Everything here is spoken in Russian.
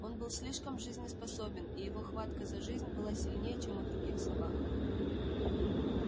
он был слишком жизнеспособен и его хватка за жизнь была сильнее чем у других собак